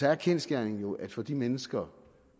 er kendsgerningen jo at for de mennesker